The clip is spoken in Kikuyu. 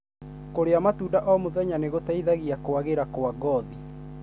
Kũria matunda o muthenya nĩ gũteithagia kwagĩra kwa ngothi.